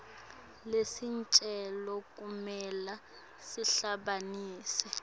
lesicelo kumele sihambisane